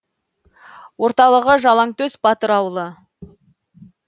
орталығы жалаңтөс батыр ауылы